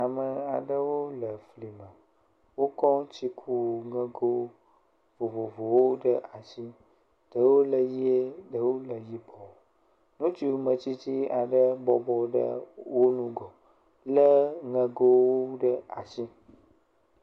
Ame aɖewo le fli me. Wokɔ tsiku ŋego vovovowo ɖe asi. Ɖewo le ʋie, ɖewo le yibɔ. Ŋutsu metsitsi aɖe bɔbɔ ɖe wo ŋgɔ le ŋego ɖe asi.